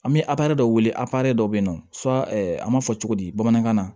An bɛ a dɔ wele a dɔ bɛ yen nɔ an b'a fɔ cogo di bamanankan na